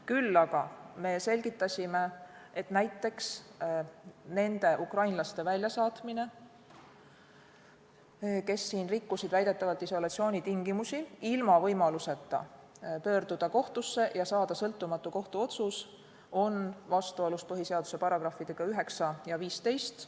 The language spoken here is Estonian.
Küll aga me selgitasime, et näiteks nende ukrainlaste väljasaatmine, kes siin väidetavalt rikkusid isolatsioonitingimusi, ilma võimaluseta pöörduda kohtusse ja saada sõltumatu kohtuotsus, on vastuolus põhiseaduse §-dega 9 ja 15.